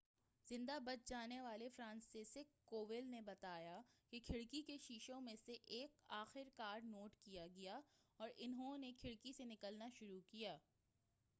زندہ بچ جانے والے فرانسسزیک کوول نے بتایا کہ کھڑکی کے شیشوں میں سے ایک آخر کار ٹوٹ گیا اور انھوں نے کھڑکی سے نکلنا شروع کیا